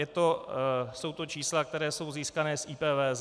Jsou to čísla, která jsou získána z IPVZ.